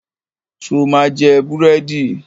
Ṣo ma jẹ búrẹ́dì?